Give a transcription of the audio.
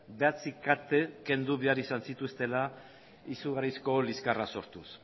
bederatzi kate kendu behar izan zituztela izugarrizko liskarra sortuz